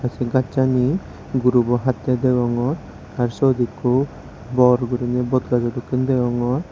essey gacchani gurubow hatay dagogor arow siot eko bor gurinaie botguj degongor.